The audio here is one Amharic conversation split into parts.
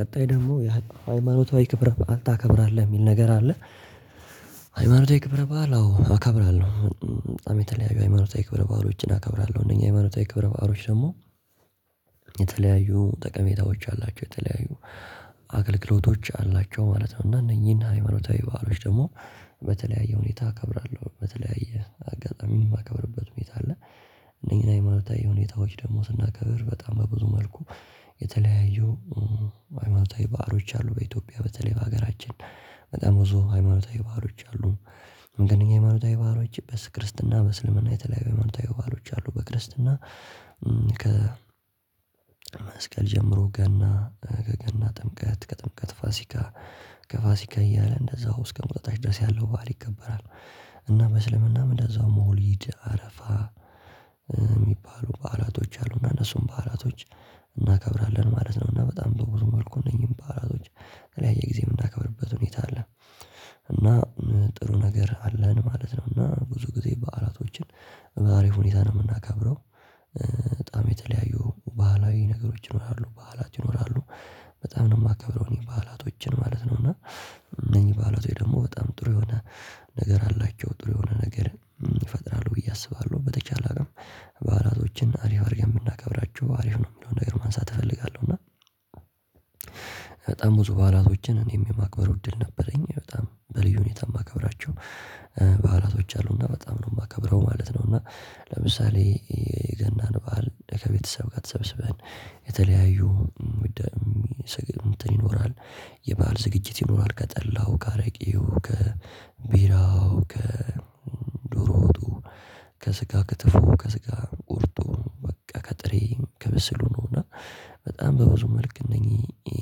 ቀጣይ ደግሞ ምን ያህል ሃይማኖታዊ ክብረ በዓል ታከብራለህ የሚል ነገር አለ። ሃይማኖታዊ ክብረ በዓል አዎ እከብራለሁ። በጣም የተለያዩ ሃይማኖታዊ ክብረ በዓሎችን አከብራለሁ። እነኚህ ሃይማኖታዊ ክብረ በዓሎች ደግሞ የተለያዩ ጠቀሜታዎች አላቸው። የተለያዩ አገልግሎቶች አላቸው ማለት ነው። እና እነኚህና ሃይማኖታዊ በዓሎች ደግሞ በተለያየ ሁኔታ እከብራለሁ። በተለያየ አጋጣሚ የማከብርበት ሁኔታ አለ። እነኚህን ሀይማታዊ ሁኔታዎች ደግሞ ስናከብር በጣም በብዙ መልኩ የተለያዩ ሀይማታዊ በዓሎች አሉ። በኢትዮጵያ በተለይ በሀገራችን በጣም ብዙ ሃይማኖታዊ በዓሎች አሉ። ግን ይሄ ሃይማኖታዊ በዓሎች በክርስትና በስልምና የተለያዩ ሃይማኖታዊ በዓሎች አሉ። በክርስትና ከ መስቀል ጀምሮ ገና፣ ገና፣ ጥምቀት፣ ከጥምቀት ፋሲካ፣ ከፋሲካ እያለ እንደዛው እስከ እቁጠጣች ድረስ ያለው በዓል ይከበራል። እና በእስልምናም እንደዛው መውሊድ አረፋ የሚባሉ በዓላቶች አሉና እነሱም በዓላቶች እናከብራለን ማለት ነውና በጣም በብዙ መልኩ እነዚህን በዓላቶች በተለያየ ጊዜ የምናከብርበት ሁኔታ አለ። እና ጥሩ ነገር አለን ማለት ነው እና ብዙ ጊዜ በዓላቶችን በአሪፍ ሁኔታ ነው የምናከብረው። በጣም የተለያዩ ባህላዊ ነገሮች ይኖራሉ። በዓሎች ይኖራሉ በጣም ነው የማከብረው እኔ በዓላቶችን ማለት ነው እና እነኚህ በዓላቶች ደግሞ በጣም ጥሩ የሆነ ነገር አላቸው። ጥሩ የሆነ ነገር ይፈጥራሉ ብዬ አስባለሁ። በተቻለ አቅም በዓላቶችን አሪፍ አድርጌ የምናከብራቸው አሪፍ ነው የምንለው ነገር ማንሳት እፈልጋለሁ እና በጣም ብዙ በዓላቶችን እኔም የማክበሩ እድል ነበረኝ። በጣም በልዩ ሁኔታ የማከብራቸው በዓላቶች አሉና በጣም ነው የማከብረው ማለት ነውና ለምሳሌ የገናን በዓል ከቤተሰብ ጋር ተሰብስበን የተለያዩ ይኖራል። የባህል ዝግጅት ይኖራል። ከጠላው፣ ከአረቂው፣ ከቢራው፣ ከዶሮ ወጡ፣ ከስጋ ክትፎ፣ ከስጋ ቁርጡ፣ በቃ ከጥሬ፣ ከብስሉ ነው እና በጣም በብዙ መልክ እነኚህ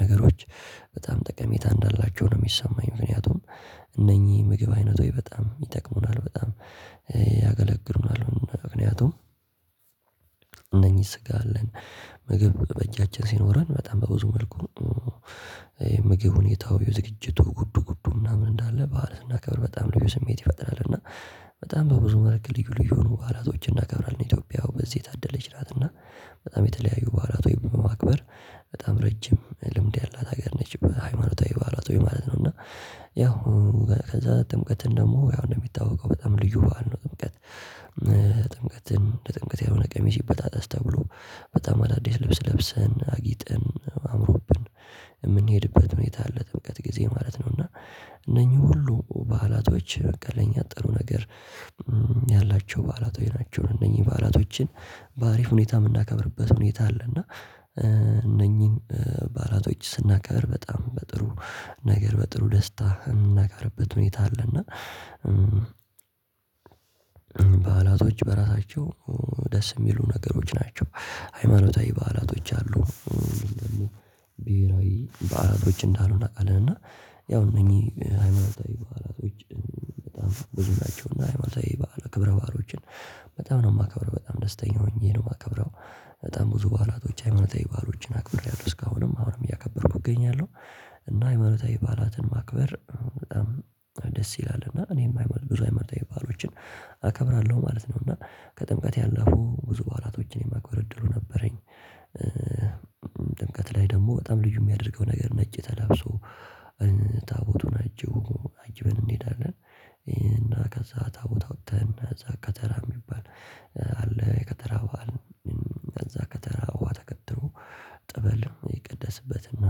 ነገሮች በጣም ጠቀሜታ እንዳላቸው ነው የሚሰማኝ። ምክንያቱም እነኚህ የምግብ አይነቶች በጣም ይጠቅሙናል በጣም ያገለግሉናል ምክንያቱም እነኚህ ስጋ አለን ምግብ በእጃችን ሲኖረን በጣም በብዙ መልኩ ምግብ ሁኔታው ዝግጅቱ ጉዱ ጉዱ ምናምን እንዳለ በዓል ስናክብር በጣም ልዩ ስሜት ይፈጥራል እና በጣም በብዙ መልክ ልዩ ልዩ በዓላቶች እናከብራለን። ኢትዮጵያው በዚህ የታደለች ናትና በጣም የተለያዩ በዓላቶች በማክበር በጣም ረጅም ልምድ ያላት ሀገር ነች። በሃይማኖታዊ በዓላቶች ማለት ነው እና ያው ከዛ ጥምቀትን ደግሞ ያው እንደሚታወቀው በጣም ልዩ በዓል ነው ጥምቀት። ለጥምቀት ያልሆነ ቀሚስ ይበጣጠስ ተብሎ በጣም አዳዲስ ልብስ ለብሰን አጊጠን አምሮብን የምንሄድበት ሁኔታ አለ ጥምቀት ጊዜ ማለት ነው እና እነኚህ ሁሉ በዓላቶች በቃ ለኛ ጥሩ ነገር ያላቸው በዓላቶች ናቸው። እነኚህ በዓላቶችን በአሪፍ ሁኔታ የምናከብርበት ሁኔታ አለ እና እነኚህን በዓላቶች ስናከብር በጣም በጥሩ ነገር በጥሩ ደስታ የምናከብርበት ሁኔታ አለና በዓላቶች በራሳቸው ደስ የሚሉ ነገሮች ናቸው። ሃይማኖታዊ በዓላቶች አሉ ደግሞ ብሄራዊ በዓላቶች እንዳሉ እናውቃለን እና ያው እነኚህ ሃይማኖታዊ በዓላቶች በጣም ብዙ ናቸው እና ሃይማኖታዊ በዓላት ክብረ በዓሎችን በጣም ነው የማከብረው በጣም ደስተኛ ሆኜ ነው የማከብረው በጣም ብዙ በዓላቶች ሃይማኖታዊ በዓሎች አክብሬያለሁ። እስካሁንም አሁንም እያከበርኩ እገኛለሁ እና ሃይማኖታዊ በዓላትን ማክበር በጣም ደስ ይላል እና እኔም ሀይማ ብዙ ሃይማኖታዊ በዓሎችን አከብራለሁ ማለት ነው እና ከጥምቀት ያለፉ ብዙ በዓላቶችን የማክበር እድሉ ነበረኝ ጥምቀት ላይ ደግሞ በጣም ልዩ የሚያደርገውን ነገር ነጭ ተላብሶ ታቦቱን አጅቦ አጅበን እንሄዳለን። እና ከዛ ታቦት አውጥተን እዛ ከተራ የሚባል አለ የከተራ በዓል ከዛ ከተራ ውሃ ተቀድቶ ጠበልም ይቀደስበትና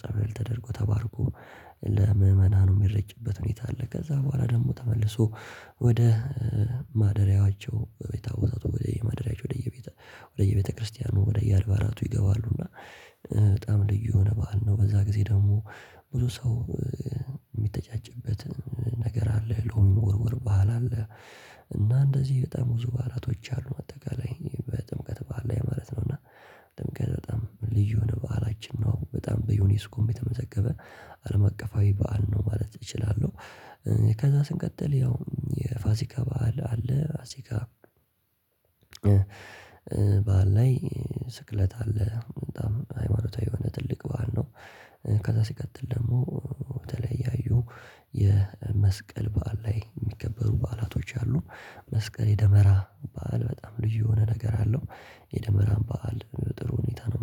ጸበል ተደርጎ ተባርኮ ለምእመናኑ የሚረጭበት ሁኔታ አለ ከዛ በኋላ ደግሞ ተመልሶ ወደ ማደሪያቸው የታቦታቱ ወየማደሪያቸው ወደየቤታ ወደ የማደሪያዎቻቸው ወደ የቤት ወደ ወደየቤተክርስቲያኑ ወደየአልባራቱ ይገባሉና በጣም ልዩ የሆነ በዓል ነው በዛ ጊዜ ደግሞ ብዙ ሰው የሚተጫጭበት ነገር አለ ሎሚ መወርወር ባህል አለ እና እንደዚህ በጣም ብዙ ባህላቶች አሉ። በአጠቃላይ በጥምቀት በዓል ላይ ማለት ነው እና ጥምቀት በጣም ልዩ የሆነ በዓላችን ነው በጣም በዩኒስኮም የተመዘገበ አለም አቀፋዊ በዓል ነው ማለት እችላለሁ። ከዛ ስንቀጥል ያው የፋሲካ በዓል አለ ፋሲካ በዓል ላይ ስቅለት አለ። በጣም ሃይማኖታዊ የሆነ ትልቅ በዓል ነው። ከዛ ሲቀጥል ደግሞ የተለያዩ የመስቀል በዓል ላይ የሚከበሩ በዓላቶች አሉ። መስቀል የደመራ በዓል በጣም ልዩ የሆነ ነገር አለው። የደመራን በዓል ጥሩ ሁኔታ ነው።